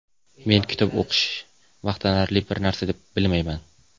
Men kitob o‘qish maqtanarli bir narsa deb bilmayman.